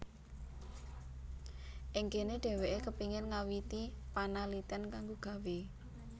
Ing kene dheweke kepingin ngawiti panaliten kanggo gawé